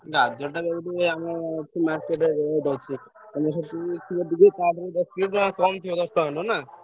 ଗାଜର ଟା ।